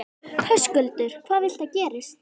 Höskuldur: Hvað viltu að gerist?